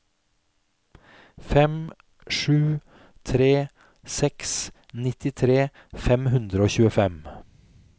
fem sju tre seks nittitre fem hundre og tjuefem